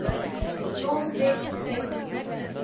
normed vector spaces